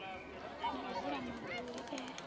na u vula mabuli e